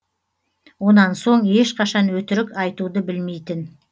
онан соң ешқашан өтірік айтуды білмейтін